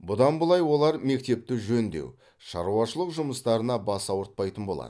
бұдан бұлай олар мектепті жөндеу шаруашылық жұмыстарына бас ауыртпайтын болады